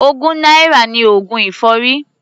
Ogún náírà ni oògùn èfọ́rí.